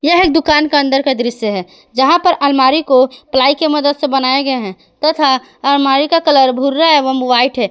यह एक दुकान का अंदर का दृश्य है जहां पर आलमारी को प्लाई की मदद से बनाए गए है तथा आलमारी का कलर भूरा एवं व्हाइट है।